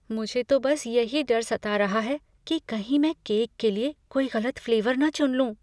मुझे तो बस यही डर सता रहा है कि कहीं मैं केक के लिए कोई गलत फ्लेवर ना चुन लूँ।